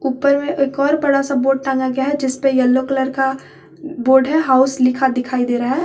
ऊपर में एक और बड़ा सा बोर्ड टांगा गया है जिस पे येलो कलर का बोर्ड है हाउस लिखा दिखाई दे रहा है।